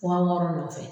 Fakɔrɔ nɔfɛ